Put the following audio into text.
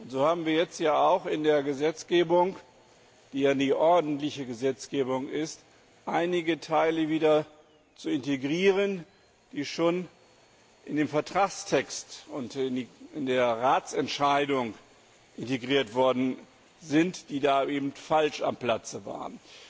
So haben wir jetzt hier auch in der Gesetzgebung, die ja die ordentliche Gesetzgebung ist, einige Teile wieder zu integrieren, die schon in den Vertragstext und in die Ratsentscheidung integriert worden sind, die da aber falsch am Platze waren.